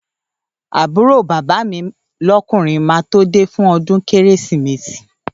Àbúrò bàbá mi lọ́kùnrin máa tó de fún ọdún Kérésìmesì